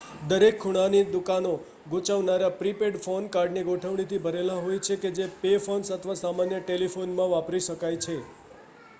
દરેક ખૂણાની દુકાનો ગૂંચવનારા પ્રી-પેડ ફોન કાર્ડની ગોઠવણીથી ભરેલી હોય છે જે પે ફોન્સ અથવા સામાન્ય ટેલિફોનમાં વાપરી શકાય છે